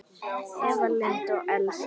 Eva Lind og Elsa.